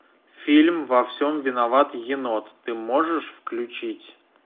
фильм во всем виноват енот ты можешь включить